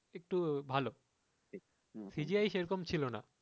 একটু ভালো CGI সেরকম ছিল না